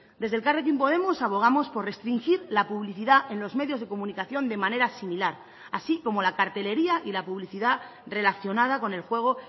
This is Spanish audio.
desde elkarrekin podemos abogamos por restringir la publicidad en los medios de comunicación de manera similar así como la cartelería y la publicidad relacionada con el juego